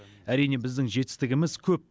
әрине біздің жетістігіміз көп